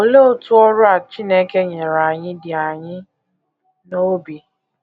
Olee otú ọrụ a Chineke nyere anyị dị anyị n’obi?